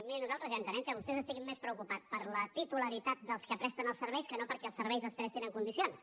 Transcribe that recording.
miri nosaltres ja entenem que vostès estiguin més preocupats per la titularitat dels que presten els serveis que no perquè els serveis es prestin en condicions